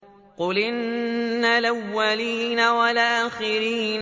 قُلْ إِنَّ الْأَوَّلِينَ وَالْآخِرِينَ